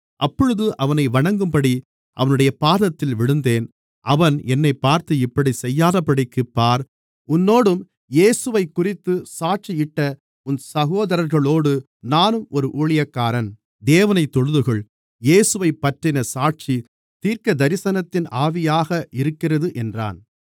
அப்பொழுது அவனை வணங்கும்படி அவனுடைய பாதத்தில் விழுந்தேன் அவன் என்னைப் பார்த்து இப்படிச் செய்யாதபடிக்குப் பார் உன்னோடும் இயேசுவைக்குறித்துச் சாட்சியிட்ட உன் சகோதரர்களோடு நானும் ஒரு ஊழியக்காரன் தேவனைத் தொழுதுகொள் இயேசுவைப்பற்றின சாட்சி தீர்க்கதரிசனத்தின் ஆவியாக இருக்கிறது என்றான்